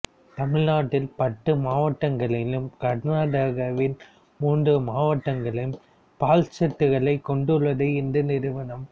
தமிழ்நாட்டில் பத்து மாவட்டங்களிலும் கர்நாடகாவில் மூன்று மாவட்டங்களிலும் பால் ஷெட்களை கொண்டுள்ளது இந்த நிறுவனம்